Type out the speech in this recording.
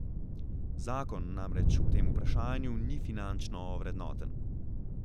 Zakon namreč v tem vprašanju ni finančno ovrednoten.